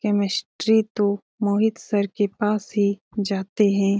Chemistry तो Mohit sir के पास ही जाते हैं।